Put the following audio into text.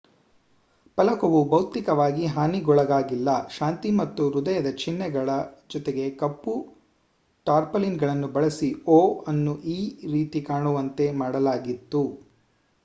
ಫಲಕವು ಭೌತಿಕವಾಗಿ ಹಾನಿಗೊಳಗಾಗಿಲ್ಲ; ಶಾಂತಿ ಮತ್ತು ಹೃದಯದ ಚಿಹ್ನೆಗಳ ಜೊತೆಗೆಕಪ್ಪು ಟಾರ್ಪಾಲಿನ್‌ಗಳನ್ನು ಬಳಸಿ o ಅನ್ನು e ರೀತಿ ಕಾಣುವಂತೆ ಮಾಡಲಾಗಿತ್ತು